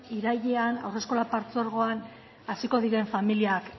irailean haurreskolak partzuergoan hasiko diren familiak